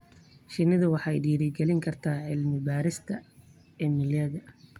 Shinnidu waxay dhiirigelin kartaa cilmi-baadhis cilmiyeed.